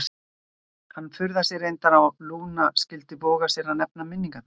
Hann furðaði sig reyndar á að Lúna skyldi voga sér að nefna minningarnar.